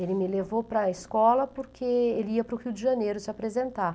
Ele me levou para a escola porque ele ia para o Rio de Janeiro se apresentar.